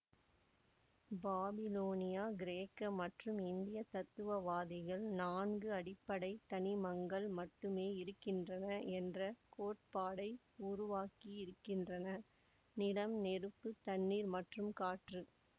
பாபிலோனிய கிரேக்க மற்றும் இந்திய தத்துவவாதிகள் நான்கு அடிப்படை தனிமங்கள் மட்டுமே இருக்கின்றன என்ற கோட்பாட்டை உருவாக்கியிருக்கின்றனர் நிலம் நெருப்பு தண்ணீர் மற்றும் காற்று